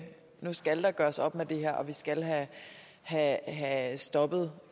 nu skal der gøres op med det her og vi skal have have stoppet